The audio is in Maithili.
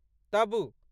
तबु